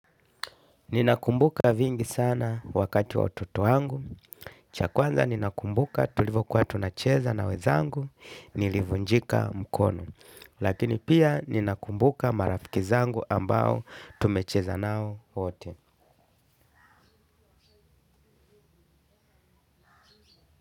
Ninakumbuka vingi sana wakati wa utoto wangu. Cha kwanza ninakumbuka tulivokuwa tunacheza na wezangu nilivunjika mkono. Lakini pia ninakumbuka marafiki zangu ambao tumecheza nao wote.